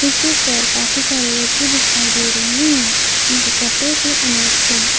किसी कर काफी सारे व्यक्ति दिखाई दे रहे हैं उनके कपड़े कलर अनेक है।